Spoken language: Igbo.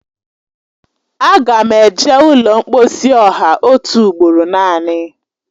Aga m eje ụlọ mkposi ọha otu ugboro naanị